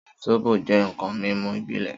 Sóbó jẹ̀ nkãn mimú ibilẹ̀